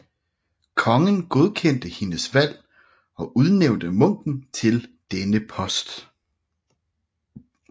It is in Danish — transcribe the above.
Kongen godkendte hendes valg og udnævnte munken til denne post